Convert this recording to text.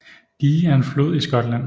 Dee er en flod i Skotland